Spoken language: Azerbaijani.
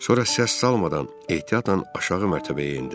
Sonra səs salmadan ehtiyatla aşağı mərtəbəyə endim.